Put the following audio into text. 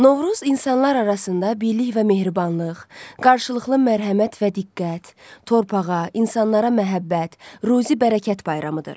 Novruz insanlar arasında birlik və mehribanlıq, qarşılıqlı mərhəmət və diqqət, torpağa, insanlara məhəbbət, ruzi-bərəkət bayramıdır.